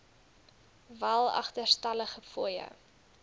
wel agterstallige fooie